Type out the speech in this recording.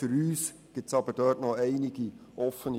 Unseres Erachtens sind dort aber noch einige Fragen offen.